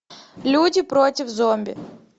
люди против зомби